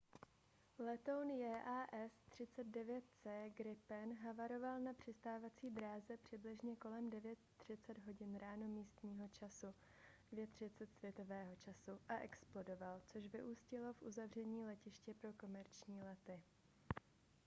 letoun jas 39c gripen havaroval na přistávací dráze přibližně kolem 9:30 h ráno místního času 02:30 utc a explodoval což vyústilo v uzavření letiště pro komerční lety